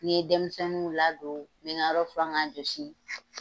Ni n ye denmisɛnninw ladon n bɛ nga yɔrɔ furan k'a josi.